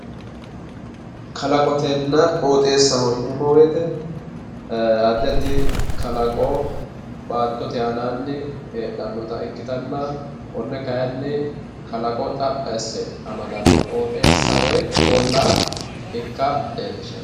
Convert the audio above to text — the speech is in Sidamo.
kalaqonna qooxeessaho yinannihu addi addi kalaqo baattote aananni heedhannota ikkitanna konne kayiinni kalaqo xaphi asse amadanno qooxeessa woy ollaa ikka leellishshanno.